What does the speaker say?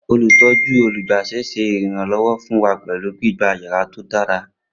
Olutọju olugba ṣe iranlọwọ fun wa pẹlu gbigba yara to dara